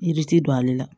Yiri ti don ale la